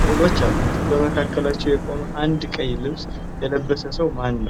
ሥዕሎች አሉት። በመካከላቸው የቆመ አንድ ቀይ ልብስ የለበሰ ሰው ማን ነው?